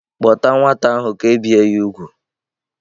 Kpọta nwata ahụ ka e bie ya úgwù!